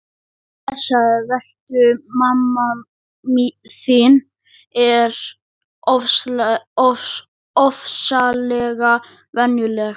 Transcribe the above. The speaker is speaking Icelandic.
Blessaður vertu, mamma þín er ofsalega venjuleg.